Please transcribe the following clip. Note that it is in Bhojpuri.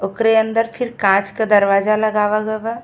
ओकरे अंदर फिर काँच के दरवाजा लगावा गये बा।